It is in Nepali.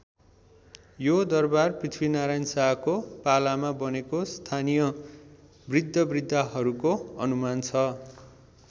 यो दरबार पृथ्वीनारायण शाहको पालामा बनेको स्थानीय बृद्धबृद्धाहरूको अनुमान छ।